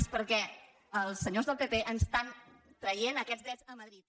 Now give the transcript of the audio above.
és perquè els senyors del pp ens estan traient aquests drets a madrid